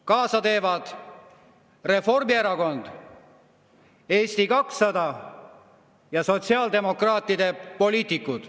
Kaasa teevad Reformierakond, Eesti 200 ja sotsiaaldemokraatide poliitikud.